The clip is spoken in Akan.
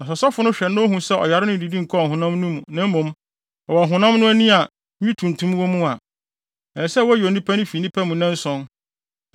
Na sɛ ɔsɔfo no hwɛ na ohu sɛ ɔyare no nnidi nkɔɔ ɔhonam no mu, na mmom, ɛwɔ ɔhonam no ani a nwi tuntum wɔ mu a, ɛsɛ sɛ woyi onipa no fi nnipa mu nnanson,